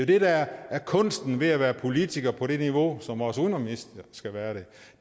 det der er kunsten ved at være politiker på det niveau som vores udenrigsminister skal være det